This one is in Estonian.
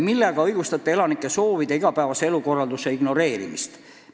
Millega õigustate elanike soovide ja igapäevase elukorralduse ignoreerimist?